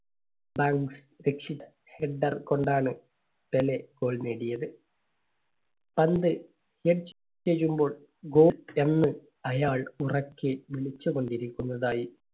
header കൊണ്ടാണ് Pele goal നേടിയത്. പന്ത് head ചെയ്യുമ്പോൾ goal എന്ന് അയാൾ ഉറക്കെ വിളിച്ചുകൊണ്ട് ഇരിക്കുന്നുണ്ടായി